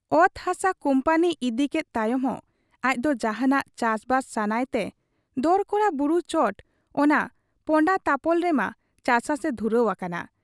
ᱚᱛ ᱦᱟᱥᱟ ᱠᱩᱢᱯᱟᱹᱱᱤ ᱤᱫᱤᱠᱮᱫ ᱛᱟᱭᱚᱢ ᱦᱚᱸ ᱟᱡᱫᱚ ᱡᱟᱦᱟᱸᱱᱟᱜ ᱪᱟᱥᱵᱟᱥ ᱥᱟᱱᱟᱭ ᱛᱮ ᱫᱚᱨᱠᱚᱲᱟ ᱵᱩᱨᱩ ᱪᱚᱴ ᱚᱱᱟ ᱯᱚᱸᱰᱟᱛᱟᱯᱚᱞ ᱨᱮᱢᱟ ᱪᱟᱪᱟᱥᱮ ᱫᱷᱩᱨᱟᱹᱣ ᱟᱠᱟᱱ ᱾